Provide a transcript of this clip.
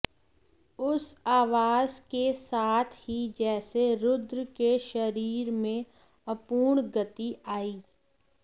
उस आवाज़ के साथ ही जैसे रुद्र के शरीर में अपूर्व गति आई